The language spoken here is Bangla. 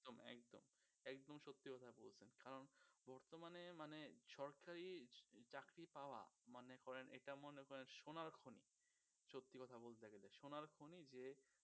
একদম, একদম সত্যি কথা বলছেন কারন বর্তমানে মানে সরকারি চাকরি পাওয়া মনে করেন এটা মনে করেন সোনার খনি সত্যি কথা বলতে গেলে সোনার খনি যে